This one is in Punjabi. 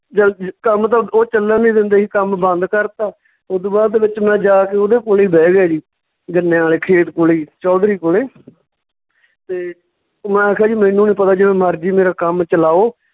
ਕੰਮ ਤਾਂ ਓਹ ਚੱਲਣ ਨਈਂ ਦਿੰਦੇ ਸੀ ਕੰਮ ਬੰਦ ਕਰਤਾ, ਓਦੂ ਬਾਅਦ ਦੇ ਵਿੱਚ ਮੈਂ ਜਾ ਕੇ ਉਹਦੇ ਕੋਲੇ ਹੀ ਬਹਿ ਗਿਆ ਜੀ ਗੰਨਿਆਂ ਵਾਲੇ ਖੇਤ ਕੋਲੇ ਹੀ ਚੌਧਰੀ ਕੌਲੇ ਤੇ ਮੈਂ ਕਿਹਾ ਜੀ ਮੈਨੂੰ ਨੀਂ ਪਤਾ ਜਿਵੇਂ ਮਰਜੀ ਮੇਰਾ ਕੰਮ ਚਲਾਓ